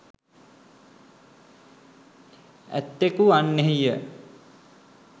ඇත්තකු වන්නෙහි ය.